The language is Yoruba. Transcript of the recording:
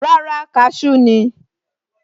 Rárá, cashew ni